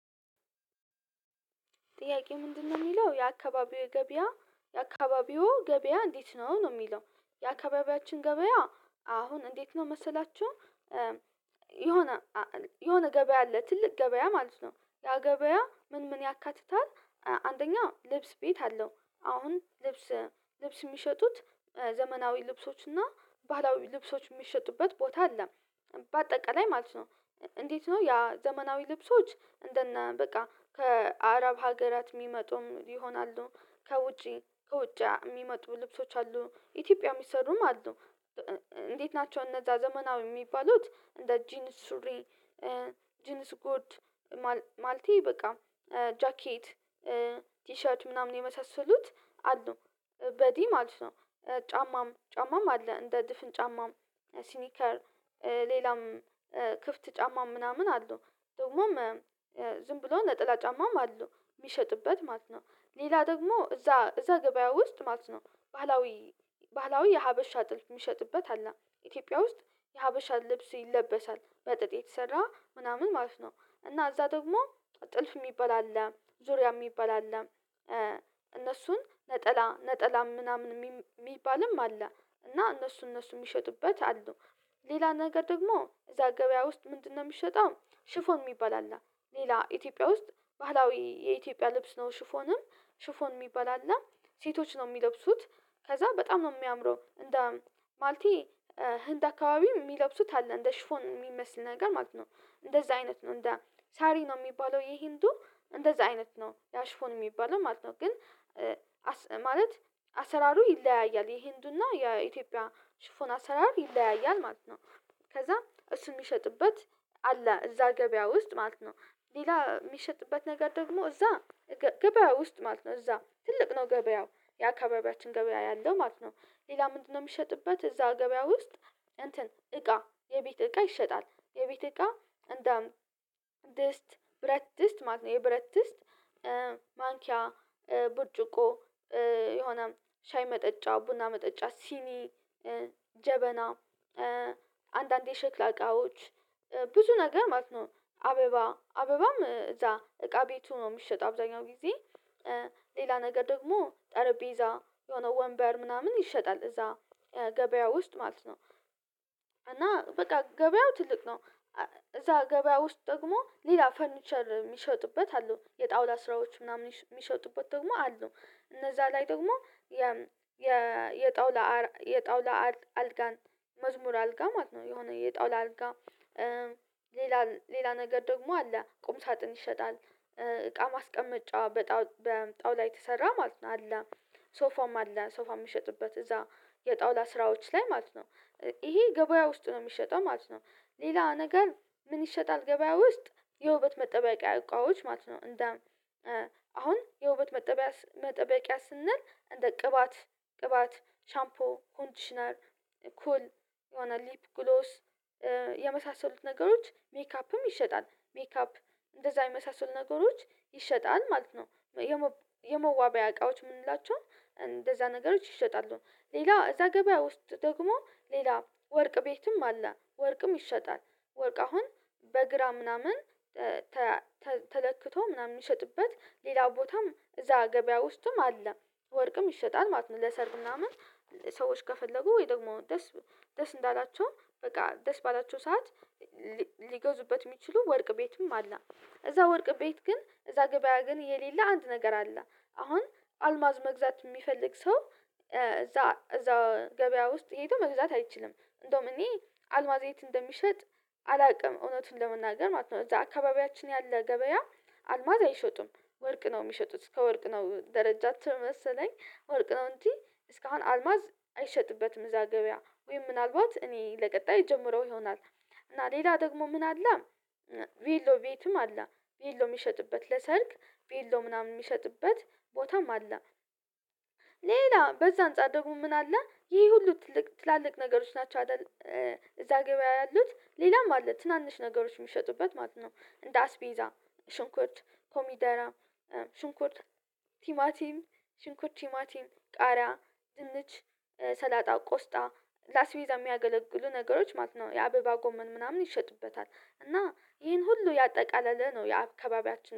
ጥያቄ ምንድነው ሚለው የአካባቢው ገበያ የአካባቢዎ ገበያ እንዴት ነው ነው የሚለው የአካባቢያችን ገበያ አሁን እንዴት ነው መሰላችሁ? የሆነ የሆነ ገበያ አለ ትልቅ ገበያ ማለት ነው ያ ገበያ ምን ምን ያካትታል? አንደኛው ልብስ ቤት አለው አሁን ልብስ ልብስ ሚሸጡት ዘመናዊ ልብሶች እና ባህላዊ ልብሶች ሚሸጡበት ቦታ አለ። በአጠቃላይ ማለት ነው እንዴት ነው ያ ዘመናዊ ልብሶች እንደነ በቃ ከአረብ ሀገራት ሚመጡም ይሆናሉ ከውጪ ከውጫ የሚመጡ ልብሶች አሉ ኢትዮጵያ የሚሰሩም አሉ። እንዴት ናቸው እነዛ ዘመናዊ ሚባሉት እንደ ጂንስ ሱሪ ጂንስ ጉርድ ማልቴ በቃ ጃኬት ቲሸርት ምናምን የመሳሰሉት አሉ። በዲ ማለት ነው ጫማም ጫማም አለ እንደ ድፍን ጫማም ሲኒከር ሌላም ክፍት ጫማም ምናምን አሉ ደግሞም ዝም ብሎ ለጥላ ጫማም አሉ የሚሸጥበት ማለት ነው። ሌላ ደግሞ እዛ እዛ ገበያ ውስጥ ማለት ነው ባህላዊ ባህላዊ የሀበሻ ጥልፍ የሚሸጥበት አለ ኢትዮጵያ ውስጥ የሀበሻ ልብስ ይለበሳል በጥጥ የተሰራ ምናምን ማለት ነው እና እዛ ደግሞ ጥልፍ ሚባል አለ። ዙሪያ ሚባል አለ እነሱን ነጠላ ነጠላም ምናምን ሚባልም አለ እና እነሱ እነሱ ሚሸጡበት አሉ። ሌላ ነገር ደግሞ እዛ ገበያ ውስጥ ምንድነው ሚሸጠው ሽፎን የሚባል አለ። ሌላ ኢትዮጵያ ውስጥ ባህላዊ የኢትዮጵያ ልብስ ነው ሽፎንም ሽፎን ሚባል አለ። ሴቶች ነው ሚለብሱት ከዛ በጣም ነው የሚያምረው እንደ ማለቴ ህንድ አካባቢ ሚለብሱት አለ እንደ ሽፎን የሚመስል ነገር ማለት ነው። እንደዛ አይነት ነው እንደ ሳሪ ነው ሚባለው የህንዱ እንደዛ አይነት ነው ያአ ሽፎን ሚባለው ማለት ነው ግን ማለት አሰራሩ ይለያያል የህንዱና የኢትዮጵያ ሽፎን አሰራር ይለያያል ማለት ነው። ከዛ እሱን ሚሸጥበት አለ እዛ ገበያ ውስጥ ማለት ነው። ሌላ ሚሸጥበት ነገር ደግሞ እዛ ገበያው ውስጥ ማለት ነው እዛ ትልቅ ነው ገበያው የአካባቢያችን ገበያ ያለው ማለት ነው። ሌላ ምንድነው የሚሸጥበት እዛ ገበያ ውስጥ? እንትን እቃ የቤት እቃ ይሸጣል የቤት እቃ እንደ ድስት ብረት ድስት ማት ነው የብረት ድስት ማንኪያ ብርጭቆ የሆነ ሻይ መጠጫ ቡና መጠጫ ሲኒ ጀበና አንዳንዴ ሸክላ እቃዎች ብዙ ነገር ማለት ነው። አበባ አበባም እዛ እቃ ቤቱ ነው የሚሸጠው አብዛኛው ጊዜ ሌላ ነገር ደግሞ ጠረጴዛ የሆነ ወንበር ምናምን ይሸጣል እዛ ገበያ ውስጥ ማለት ነው። እና በቃ ገበያው ትልቅ ነው እዛ ገበያ ውስጥ ደግሞ ሌላ ፈርኒቸር ሚሸጡበት አሉ የጣውላ ስራዎች ምናምን ሚሸጡበት ደግሞ አሉ። እነዛ ላይ ደግሞ የጣውላ የጣውላ አልጋን መዝሙር አልጋ ማለት ነው የሆነ የጣውላ አልጋ ሌላ ሌላ ነገር ደግሞ አለ ቁም ሳጥን ይሸጣል። እቃ ማስቀመጫ በጣውላ የተሰራ ማለት ነው አለ ሶፋም አለ ሶፋ ሚሸጥበት እዛ የጣውላ ስራዎች ላይ ማለት ነው። ይሄ ገበያ ውስጥ ነው የሚሸጠው ማለት ነው። ሌላ ነገር ምን ይሸጣል ገበያ ውስጥ? የውበት መጠበቂያ እቃዎች ማለት ነው እንደ አሁን የውበት መጠበቂያ መጠበቂያ ስንል እንደ ቅባት ቅባት ሻምፖ ኮንዲሽነር ኩል ሆነ ሊፕ ግሎስ የመሳሰሉት ነገሮች ሜካ አፕም ይሸጣል ሜካፕ እንደዛ የመሳሰሉ ነገሮች ይሸጣል ማለት ነው። የመዋቢያ እቃዎች ምንላቸው እንደዛ ነገሮች ይሸጣሉ ሌላ እዛ ገበያ ውስጥ ደግሞ ሌላ ወርቅ ቤትም አለ ወርቅም ይሸጣል። ወርቅ አሁን በግራ ምናምን ተለክቶ ምናምን ሚሸጥበት ሌላ ቦታም እዛ ገበያ ውስጥም አለ። ወርቅም ይሸጣል ማለት ነው ለሰርግ ምናምን ሰዎች ከፈለጉ ወይ ደግሞ ደስ ደስ እንዳላቸው በቃ ደስ ባላቸው ሰዓት ሊጎዙበት ሚችሉ ወርቅ ቤትም አለ። እዛ ወርቅ ቤት ግን እዛ ገበያ ግን የሌለ አንድ ነገር አለ አሁን አልማዝ መግዛት የሚፈልግ ሰው እዛ እዛ ገበያ ውስጥ ሄዶ መግዛት አይችልም እንደውም እኔ አልማዝ የት እንደሚሸጥ አላቅም እውነቱን ለመናገር ማለት ነው እዛ አካባቢያችን ያለ ገበያ አልማዝ አይሸጡም። ወርቅ ነው ሚሸጡት ከወርቅ ነው ደረጃቸው መሰለኝ ወርቅ ነው እንጂ እስካሁን አልማዝ አይሸጥበትም እዛ ገበያ ወይ ምናልባት እኔ ለቀጣይ እጀምረው ይሆናል። እና ሌላ ደግሞ ምን አለ? ቢሎ ቤትም አለ ቢሎ የሚሸጥበት ለሰርግ ቤሎ ምናምን ሚሸጥበት ቦታም አለ። ሌላ በዛ አንፃር ደግሞ ምን አለ ይህ ሁሉ ትልቅ ትላልቅ ነገሮች ናቸው አደል እዛ ገበያ ያሉት ሌላም አለ ትናንሽ ነገሮች ሚሸጡበት ማለት ነው። እንደ አስቤዛ ሽንኩርት ኮሚደራ ሽንኩርት ቲማቲም ሽንኩርት ቲማቲም ቃሪያ ድንች ሰላጣ ቆስጣ ለአስቤዛ የሚያገለግሉ ነገሮች ማለት ነው የአበባ ጎመን ምናምን ይሸጡበታል እና ይሄን ሁሉ ያጠቃለለ ነው የአካባቢያችን